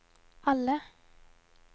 alle